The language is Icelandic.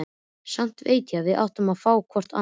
Samt veit ég að við áttum að fá hvort annað.